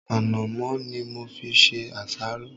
Ànàmọ́ ni mo fi ṣe àsáró.